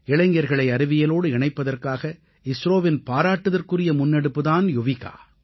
இளைஞர்களை அறிவியலோடு இணைப்பதற்காக இஸ்ரோவின் பாராட்டுதற்குரிய முன்னெடுப்பு தான் யுவிகா